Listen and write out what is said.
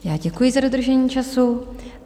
Já děkuji za dodržení času.